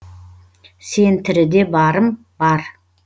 сен тіріде барым бар